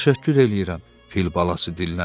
Təşəkkür eləyirəm, fil balası dilləndi.